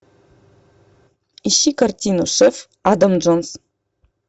ищи картину шеф адам джонс